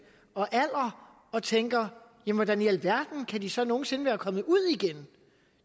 og alder og tænker hvordan i alverden kan de så nogen sinde være kommet ud igen